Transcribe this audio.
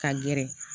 Ka gɛrɛ